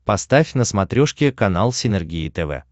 поставь на смотрешке канал синергия тв